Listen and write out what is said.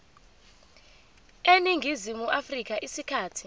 eningizimu afrika isikhathi